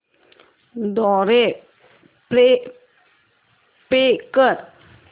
द्वारे पे कर